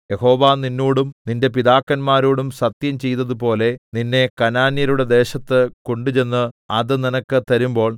യഹോവ നിന്നോടും നിന്റെ പിതാക്കന്മാരോടും സത്യം ചെയ്തതുപോലെ നിന്നെ കനാന്യരുടെ ദേശത്ത് കൊണ്ടുചെന്ന് അത് നിനക്ക് തരുമ്പോൾ